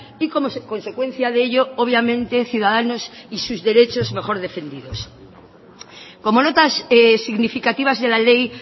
y como consecuencia de ello obviamente ciudadanos y sus derechos mejor defendidos como notas significativas de la ley